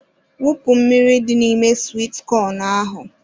Wụpụ mmiri dị n'ime swit kọn ahụ.